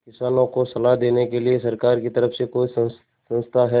किसानों को सलाह देने के लिए सरकार की तरफ से कोई संस्था है